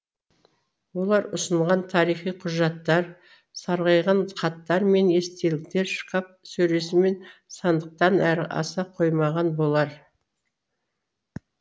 олар ұсынған тарихи құжаттар сарғайған хаттар мен естеліктер шкаф сөресі мен сандықтан әрі аса қоймаған болар